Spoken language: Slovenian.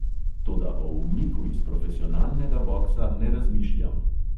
Toda o umiku iz profesionalnega boksa ne razmišljam.